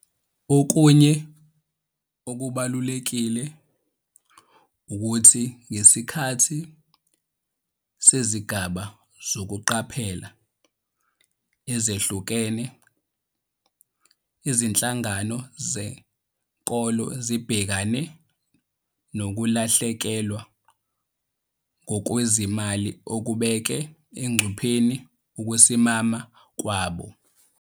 Okunye okubalulekile ukuthi ngesikhathi sezigaba zokuqaphela ezehlukene, izinhlangano zenkolo zibhekane nokulahlekelwa ngokwezimali okubeke engcupheni ukusimama kwabo.